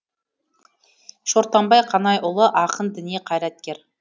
шортанбай қанайұлы ақын діни қайраткер